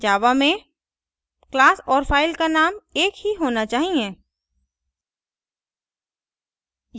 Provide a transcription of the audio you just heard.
java में class और file का name एकही होना चाहिए